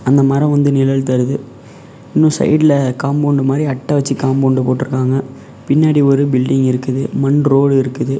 அந்த மரோ வந்து நிழல் தருது இன்னு சைடு ல காம்பவுண்டு மாரி அட்ட வெச்சி காம்பவுண்டு போட்ருக்காங்க பின்னாடி ஒரு பில்டிங் இருக்குது மண் ரோடு இருக்குது.